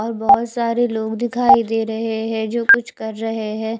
और बोहोत सारे लोग दिखाई दे रहे है जो कुछ कर रहे है।